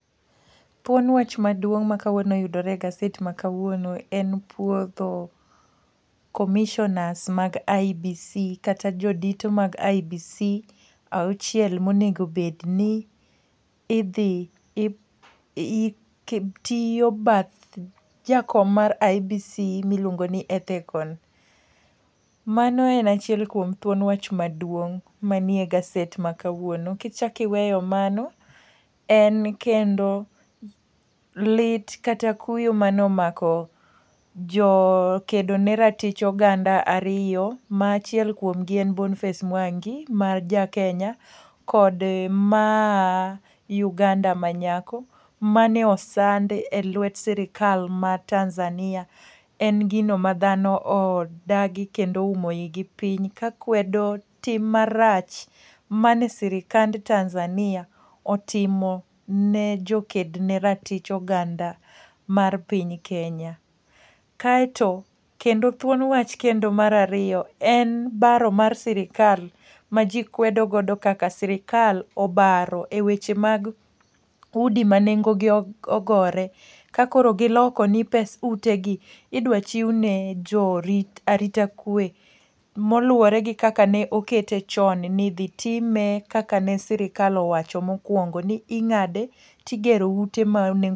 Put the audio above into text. Thuon wach maduong ma kawuono yudore e gaset ma kawuono en puodho commissioners mag IEBC kata jodito mag IEBC auchiel ma onego obed ni idhi tiyo bath jakom mar IEBC miluongo ni Ethekon. Mano en achiel kuom thuon wach maduong' manie gaset ma kawuono. Ki chak iweyo mano, en kendo lit, kata kuyo mane omako jokedo ne ratich oganda ariyo ma achiel kuom gi en Boniface Mwangi ma ja Kenya kod maa Uganda manyako mane osandi e lwet sirkal mar Tanzania. En gino ma dhano odagi, kendo oumo ii gi piny, ka kwedo tim marach mane sirikand Tanzania otimo ne joked ne ratich oganda mar piny Kenya. Kaeto kendo thuon wach kendo mar ariyo en baro mar sirkal, ma ji kwedo godo kaka sirkal obaro e weche mag udi ma nengo gi ogore. Ka koro giloko ni pesa ute gi idwa chiw ne jo arita kwe, moluwore gi kaka ne okete chon ni idhi time kaka ne sirkal owacho mokwongo ni ingáde to igero ute ma nengo.